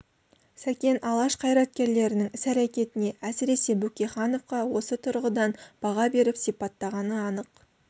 сәкен алаш қайраткерлерінің іс-әрекетіне әсіресе бөкейхановқа осы тұрғыдан баға беріп сипаттағаны анық